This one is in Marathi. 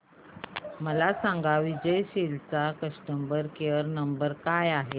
मला सांगा विजय सेल्स चा कस्टमर केअर क्रमांक काय आहे